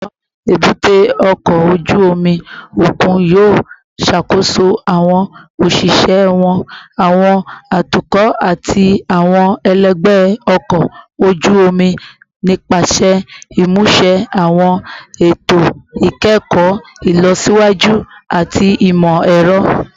Awọn ebute oko oju omi okun yoo ṣakoso awọn oṣiṣẹ wọn, awọn atukọ, ati awọn ẹlẹgbẹ ọkọ oju-omi nipasẹ imuse awọn eto ikẹkọ ilọsiwaju ati imọ-ẹrọ